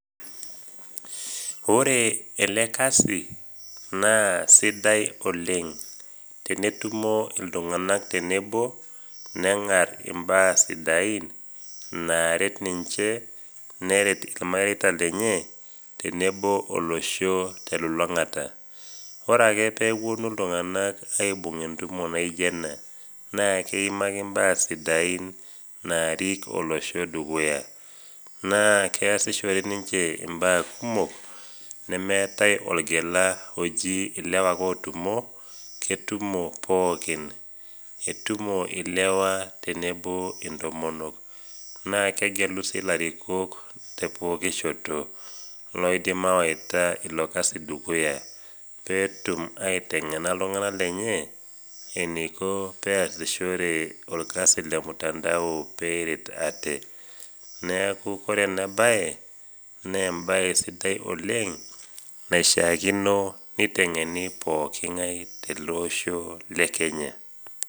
Ore ele kasi naa sidai oleng' tenetumo iltung'anak tenebo neng'arr imbaa sidain naaret ninche neret ilmareita lenye tenebo olosho telulung'ata. Ore ake peepuonu iltung'anak aibung' entumo naijo ena naakeimaki imbaa sidain naarik olosho dukuya, naakeasishore ninche imbaa kumok nmeetai olgella oji ilewa ake otumo ketumo pookin. Etumo ilewa tenebo intomonok, naakegelu si ilarikok te pooki shoto iloidim awaita ilo kasi dukuya peetum aiteng'ena iltung'ana lenye eneiko peeasishore olkasi lemutandao peeret ate. Neaku kore enabaye neembaye sidai oleng' naishaakino neiteng'eni pooking'ai teleosho le Kenya.